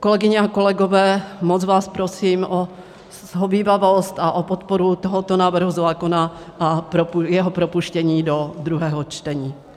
Kolegyně a kolegové, moc vás prosím o shovívavost a o podporu tohoto návrhu zákona a jeho propuštění do druhého čtení.